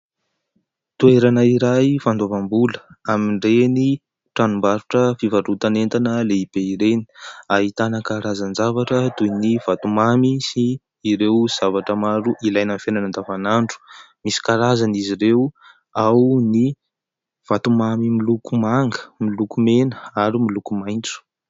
Toerana iray fandoavam-bola amin'ireny tranombarotra fivarotana entana lehibe ireny. Ahitana karazan-javatra toy ny vatomamy sy ireo zavatra maro ilaina amin'ny fiainana andavanandro. Misy karazany izy ireo. Ao ny vatomamy miloko manga, miloko mena ary miloko maitso.